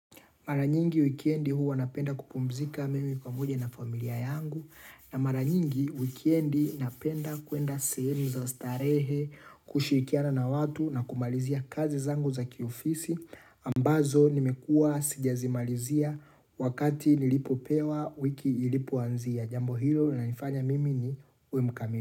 Mara nyingi wikiendi huwa napenda kupumzika mimi pamoja na familia yangu. Na mara nyingi wikiendi napenda kuenda sehemu za starehe kushirikiana na watu na kumalizia kazi zangu za kiofisi. Ambazo nimekua sijazi malizia wakati nilipo pewa wiki ilipo anzia. Jambo hilo na nifanya mimi nikue mukamimi.